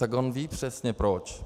Tak on ví přesně proč.